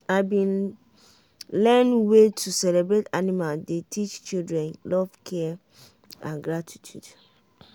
i been learn way to celebrate animal dey teach children love care and gratitude.